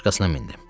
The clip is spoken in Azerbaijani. Başqasına mindim.